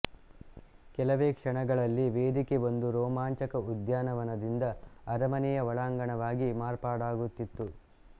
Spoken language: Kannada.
ಕೆಲವೆ ಕ್ಷಣಗಳಲ್ಲಿ ವೇದಿಕೆ ಒಂದು ರೋಮಾಂಚಕ ಉದ್ಯಾನವನದಿಂದ ಅರಮನೆಯ ಒಳಾಂಗಣವಾಗಿ ಮಾರ್ಪಾಡಾಗುತಿತ್ತು